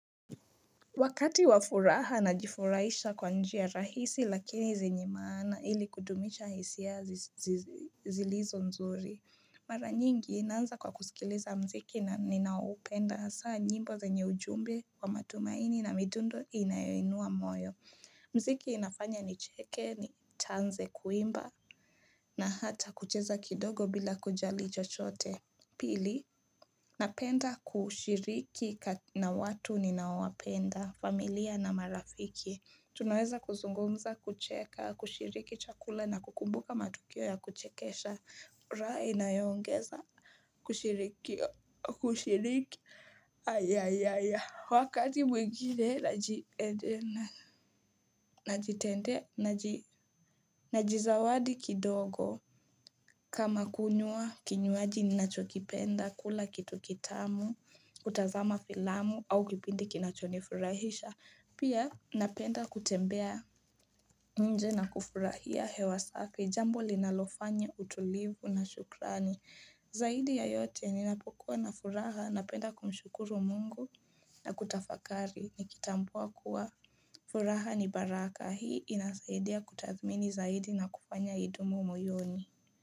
Wakati wafuraha najifurahisha kwa njia rahisi lakini zenye maana ili kudumisha hisia zilizo nzuri. Mara nyingi naanza kwa kusikiliza mziki na ninaoupenda hasaa nyimbo zenye ujumbe wa matumaini na midundo inayoinua moyo. Mziki inafanya nicheke nianze kuimba na hata kucheza kidogo bila kujali chochote. Pili, napenda kushiriki na watu ninaowapenda, familia na marafiki. Tunaweza kuzungumza, kucheka, kushiriki chakula na kukumbuka matukio ya kuchekesha. Raha inayoongeza, kushiriki, kushiriki, wakati mwingine, najizawadi kidogo. Kama kunywa, kinywaji ninachokipenda, kula kitu kitamu, kutazama filamu au kipindi kinachonifurahisha. Pia, napenda kutembea nje na kufurahia hewa safi Jambo linalofanya utulivu na shukrani. Zaidi ya yote, ninapokuwa na furaha, napenda kumshukuru mungu na kutafakari. Nikitambua kuwa, furaha ni baraka. Hii inasaidia kutathmini zaidi na kufanya idumu moyoni.